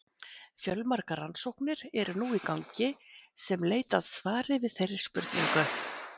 Fjölmargar rannsóknir eru nú í gangi sem leit að svari við þeirri spurningu.